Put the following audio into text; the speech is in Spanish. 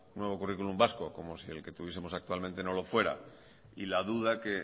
nuevo currículum vasco como si el que tuviesemos actualmente no lo fuera y la duda que